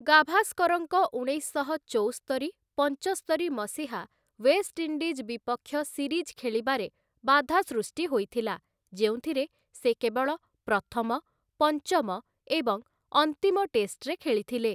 ଗାଭାସ୍କରଙ୍କ ଉଣେଇଶ ସହ ଚଉସ୍ତରି ପଞ୍ଚସ୍ତରି ମସିହା ୱେଷ୍ଟଇଣ୍ଡିଜ୍‌ ବିପକ୍ଷ ସିରିଜ୍‌ ଖେଳିବାରେ ବାଧା ସୃଷ୍ଟି ହୋଇଥିଲା ଯେଉଁଥିରେ ସେ କେବଳ ପ୍ରଥମ, ପଞ୍ଚମ ଏବଂ ଅନ୍ତିମ ଟେଷ୍ଟରେ ଖେଳିଥିଲେ ।